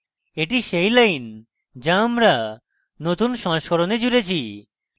এটি সেই lines যা আমরা নতুন সংস্করণে জুড়েছি